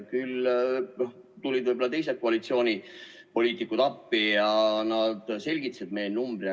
Küll aga tulid teised koalitsioonipoliitikud appi ja nad selgitasid, mis see number on.